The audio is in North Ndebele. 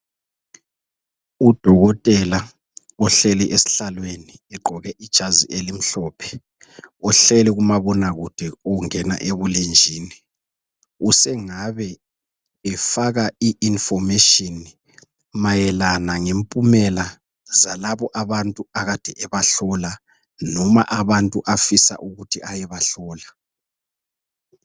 Udokotela ohleli esihlalweni egqoke ijazi elimhlophe uhleli kumabonakude ukungena ebulenjini usengabe efaka iinformation mayelana ngempumela zalabo abantu akade ebahlola noma abantu afisa ukuthi ayebahlola.